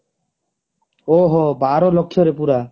ଓହୋ ବାର ଲକ୍ଷ ରେ ପୁରା